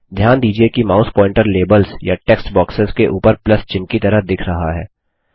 ध्यान दीजिये कि माउस पॉइंटर लेबल्स या टेक्स्ट बॉक्सेस के उपर प्लस चिह्न की तरह दिख रहा है